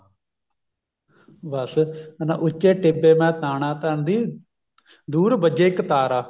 ਬੱਸ ਹਨਾ ਉੱਚੇ ਟਿੱਬੇ ਮੈਂ ਤਾਣਾ ਤਣਦੀ ਦੂਰ ਵੱਜੇ ਇਕ ਤਾਰਾ